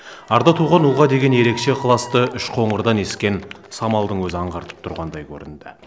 арда туған ұлға деген ерекше ықыласты үшқоңырдан ескен самалдың өзі аңғартып тұрғандай көрінді